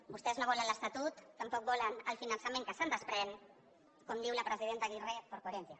vostès no volen l’estatut tampoc volen el finançament que se’n desprèn com diu la presidenta aguirre por coherencia